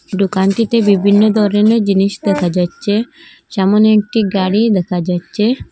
দোকানটিতে বিভিন্ন ধরনের জিনিস দেখা যাচ্ছে সামনে একটি গাড়ি দেখা যাচ্ছে।